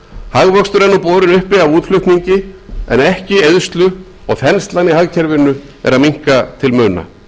hagvöxtur er nú borinn uppi af útflutningi en ekki eyðslu og þenslan í hagkerfinu er að minnka til muna